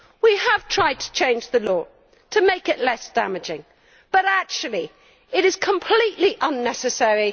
We have tried to change the law, to make it less damaging, but actually it is completely unnecessary.